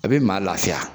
A bɛ maa lafiya